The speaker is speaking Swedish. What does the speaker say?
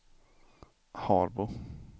Harbo